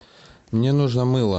мне нужно мыло